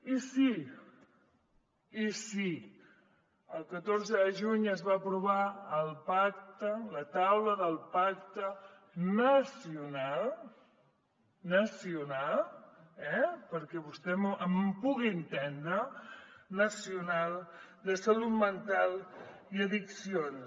i sí el catorze de juny es va aprovar el pacte la taula del pacte nacional eh nacional perquè vostè em pugui entendre de salut mental i addiccions